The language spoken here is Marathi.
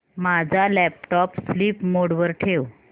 माझा लॅपटॉप स्लीप मोड वर ठेव